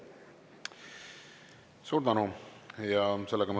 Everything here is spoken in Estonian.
Suur tänu!